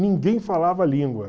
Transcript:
Ninguém falava a língua.